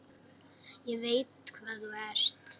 Ég veit hvað þú ert.